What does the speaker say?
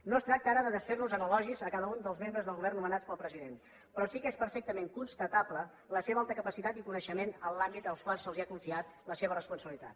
no es tracta ara de desfer nos en elogis a cada un dels membres del govern nomenats pel president però sí que és perfectament constatable la seva alta capacitat i coneixement en l’àmbit en el qual se’ls ha confiat la seva responsabilitat